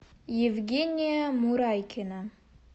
евгения мурайкина